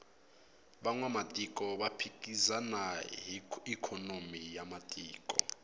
vanwamatiko va phikizana hi ikhonomi ya matiko